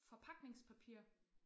Forpakningspapir